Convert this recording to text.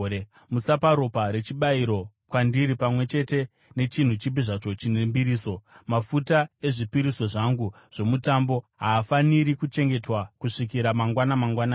“Musapa ropa rechibayiro kwandiri pamwe chete nechinhu chipi zvacho chine mbiriso. “Mafuta ezvipiriso zvangu zvomutambo haafaniri kuchengetwa kusvikira mangwana mangwanani.